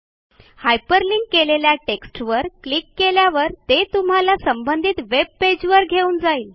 hyperlink केलेल्या टेक्स्टवर click केल्यावर ते तुम्हाला संबंधित वेब pageवर घेऊन जाईल